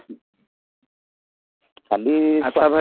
କାଲି ଆଛା ଭାଇ